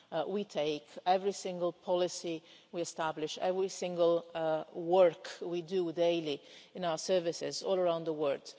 we take, every single policy we establish and every single piece of work we do daily in our services all around the world.